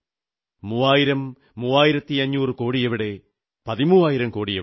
മൂവായിരംമൂവായിരത്തഞ്ഞൂറുകോടിയെവിടെ പതിമൂവായിരം കോടിയെവിടെ